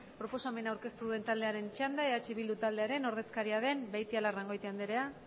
proposamena aurkeztu duen taldearen txanda eh bildu taldearen ordezkaria den beitialarrangoitia andrea